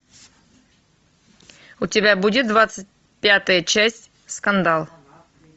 у тебя будет двадцать пятая часть скандал